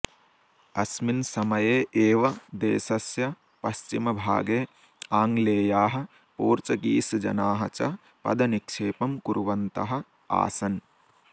अस्मिन् समये एव देशस्य पश्चिमभागे आंगलेयाः पोर्चगीसजनाः च पदनिक्षेपं कुर्वन्तः आसन्